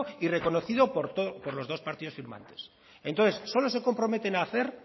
y reconocido por los dos partidos firmantes entonces solo se comprometen hacer